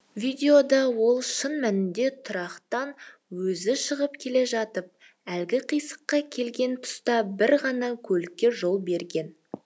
видеода ол шын мәнінде тұрақтан өзі шығып келе жатып әлгі қиылысқа келген тұста бір ғана көлікке жол берген